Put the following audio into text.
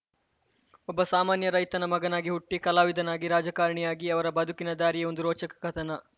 ಒಬ್ಬ ಸಾಮಾನ್ಯ ರೈತನ ಮಗನಾಗಿ ಹುಟ್ಟಿ ಕಲಾವಿದನಾಗಿ ರಾಜಕಾರಣಿಯಾಗಿ ಅವರ ಬದುಕಿನ ದಾರಿಯೇ ಒಂದು ರೋಚಕ ಕಥನ